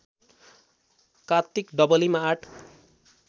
कार्तिक डबलीमा आठ